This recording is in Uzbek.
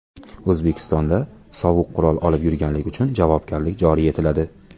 O‘zbekistonda sovuq qurol olib yurganlik uchun javobgarlik joriy etiladi.